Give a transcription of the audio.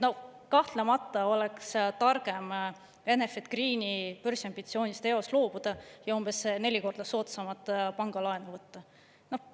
Kahtlemata oleks targem Enefit Greeni börsiambitsioonist eos loobuda ja umbes neli korda soodsamat pangalaenu võtta.